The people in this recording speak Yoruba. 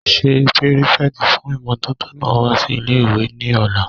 Ṣé pírífẹ̀tì fún ìmótótó náà wá sí ilé-ìwé ní ọ̀la?